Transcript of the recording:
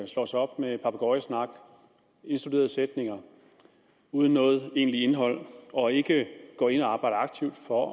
slår sig op med papegøjesnak indstuderede sætninger uden noget egentligt indhold og ikke går ind og arbejder aktivt for